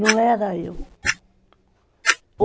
Não era eu.